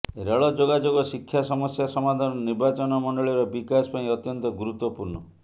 rail ଯୋଗାଯୋଗ ଶିକ୍ଷା ସମସ୍ୟା ସମାଧାନ ନିର୍ବାଚନ ମଣ୍ଡଳିର ବିକାଶ ପାଇଁ ଅତ୍ୟନ୍ତ ଗୁରୁତ୍ୱପୁର୍ଣ୍ଣ